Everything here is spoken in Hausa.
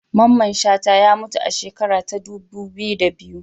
Mamman Shata ya mutu a shekara ta dubu biyu da biyu